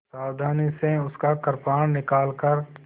सावधानी से उसका कृपाण निकालकर